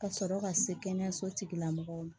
Ka sɔrɔ ka se kɛnɛyaso tigilamɔgɔw ma